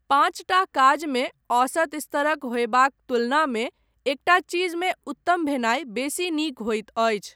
पांचटा काजमे औसत स्तरक होयबाक तुलनामे एकटा चीजमे उत्तम भेनाय बेसी नीक होइत अछि।